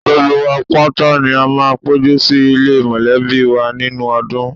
Gbogbo wa pátá ni a máa ń péjú sì ilé mọ̀lẹ́bí wa nínú ọdún